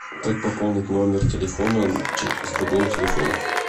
как пополнить номер телефона с другого телефона